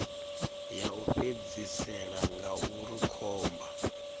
ya u fhedzisela ngauri khomba